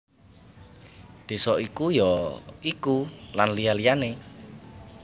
Désa iku ya iku Lan liya liyané